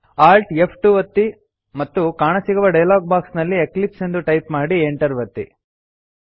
Alt F two ಒತ್ತಿ ಮತ್ತು ಕಾಣಸಿಗುವ ಡಯಲಾಗ್ ಬಾಕ್ಸ್ ನಲ್ಲಿ ಎಕ್ಲಿಪ್ಸ್ ಎಂದು ಟೈಪ್ ಮಾಡಿ Enter ಒತ್ತಿ